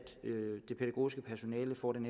det pædagogiske personale får den